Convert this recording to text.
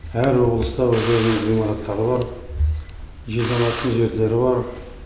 әр облыста өзінің ғимараттары бар жиналатын жерлері бар